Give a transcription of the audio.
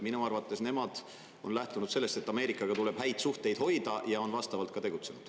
Minu arvates nemad on lähtunud sellest, et Ameerikaga tuleb häid suhteid hoida, ja on ka vastavalt tegutsenud.